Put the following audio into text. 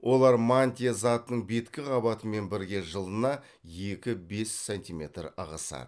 олар мантия затының беткі қабатымен бірге жылына екі бес сантиметр ығысады